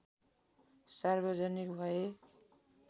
सार्वजनिक भए